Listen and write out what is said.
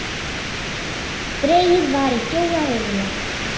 Dregið var í fjóra riðla.